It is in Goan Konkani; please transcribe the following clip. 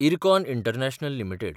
IRCON international limited